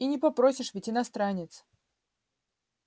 и не попросишь ведь иностранец